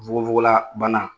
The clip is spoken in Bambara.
NFukofoko la banna